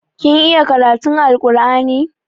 Kin iya karatun Alkur'ani?